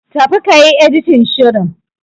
Tafi kayi Editin shirin.